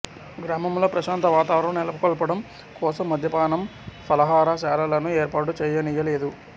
గ్రామంలో ప్రశాంత వాతావరణం నెలకొల్పటం కోసం మద్యపానం ఫలహారశాలలను ఏర్పాటు చేయనీయ లేదు